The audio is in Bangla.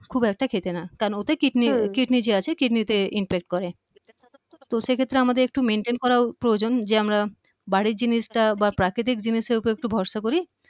খুব একটা খেতে না কারণ ওতে kidney যে আছে kidney তে impact করে তো সেক্ষেত্রে আমাদের একটু maintain করা প্রয়োজন যে আমরা বাড়ির জিনিসটা বা প্রাকৃতিক জিনিসের উপরে একটু ভরসা করি